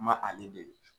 Ma ale dege